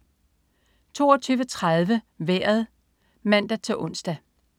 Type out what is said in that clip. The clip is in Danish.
22.30 Vejret (man-ons)